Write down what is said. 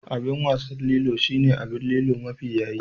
Abin wasan Lilo shine abin Lilo mafi yaye